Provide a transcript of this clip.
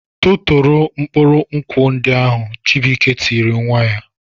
"Tụtụrụ mkpụrụ nkwụ ndị ahụ!" Chibuike tiri nwa ya.